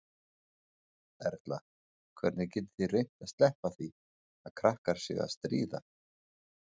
Erla: Hvernig getið þið reynt að sleppa því að krakkar séu að stríða?